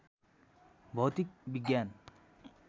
भौतिक विज्ञान